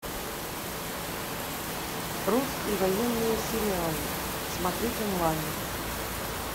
русские военные сериалы смотреть онлайн